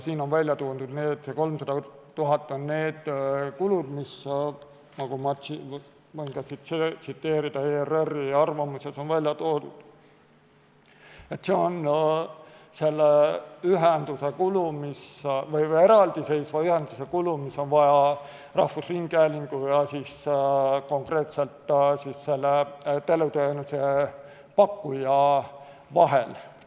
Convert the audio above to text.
Siin on välja toodud, et 300 000 on need kulud selle eraldiseisva ühenduse jaoks, mida on vaja rahvusringhäälingu ja teleteenuse pakkuja vahel.